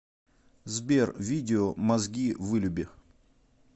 сбер видео мозги вылюби